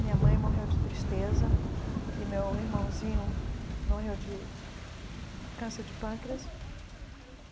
Minha mãe morreu de tristeza e meu irmãozinho morreu de câncer de pâncreas.